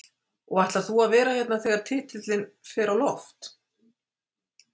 Og ætlar þú að vera hérna þegar titilinn fer á loft?